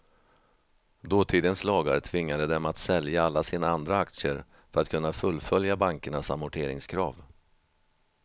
Dåtidens lagar tvingade dem att sälja alla sina andra aktier för att kunna fullfölja bankernas amorteringskrav.